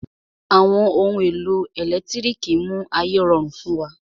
Àwọn ohun èlò ẹ̀lẹ́tírìkì mú ayé rọrùn fún wa.